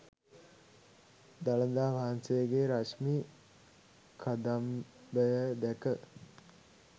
දළදා වහන්සේගේ රශ්මි කදම්බය දැක